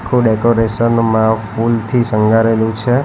Decoration માં ફુલથી શણગારેલું છે.